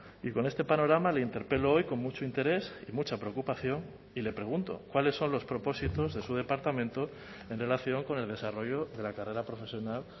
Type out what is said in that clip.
y con este panorama le interpelo hoy con mucho interés y mucha preocupación y le pregunto cuáles son los propósitos de su departamento en relación con el desarrollo de la carrera profesional